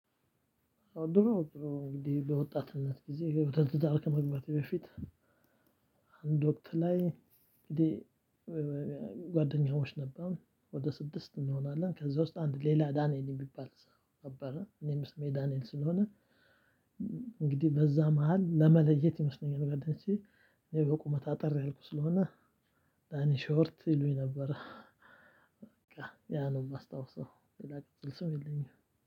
ድሮ ድሮ እንግዲህ በወጣትነት ጊዜ የውድድር አልከመግባቴ በፊት አንድ ወቅት ላይ ጓደኛዎች ነበሩ ወደ ስድስት እንሆናለን ከዛ ውስጥ አንድ ሌላ ዳንኤል የሚባል ሰው ነበረ እኔም ስሜ ዳንኤል ስለሆነ እንግዲህ በዛ መሃል ለመለየት ይመስለኛል ጋር ደንሺ እኔ በቁመት አጠር ያልኩ ስለሆነ ዳኒ ሾርት ይሉኝ ነበረ። በቃ ያ ነው የማስታውሰው። ሌላ ቀጽል ስም የለኝም።